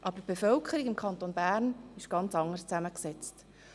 Aber die Bevölkerung des Kantons Bern ist ganz anders zusammengesetzt.